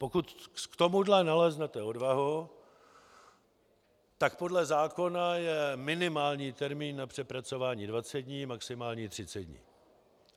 Pokud k tomuhle naleznete odvahu, tak podle zákona je minimální termín na přepracování 20 dní, maximální 30 dní.